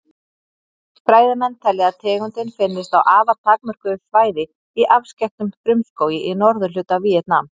Fræðimenn telja að tegundin finnist á afar takmörkuðu svæði í afskekktum frumskógi í norðurhluta Víetnam.